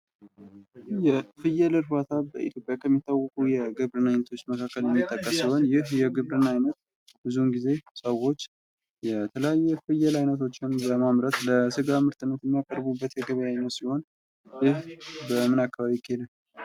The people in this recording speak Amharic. የፍየል እርባታ በኢትዮጵያ ከሚታወቁ የግብርና አይነቶች መካከል የሚጠቀስ ሲሆን ይህ የግብርና ዓይነት ብዙውን ጊዜ ሰዎች የተለያየ የፍየል አይነቶች በማምረት ለስጋ ምርትነት የሚያቀርቡበት የገበያ አይነት ሲሆን ይህ በምን አይነት አካባቢ ይካሄዳል ?